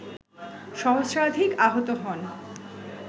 সহস্রাধিক আহত হন